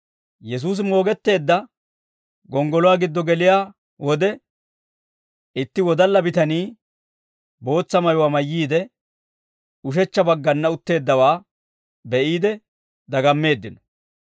Yesuusi moogetteedda gonggoluwaa giddo geliyaa wode, itti wodalla bitanii bootsa mayuwaa mayyiide, ushechcha baggana utteeddawaa be'iide dagammeeddino.